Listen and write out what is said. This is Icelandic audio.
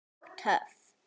Og töff.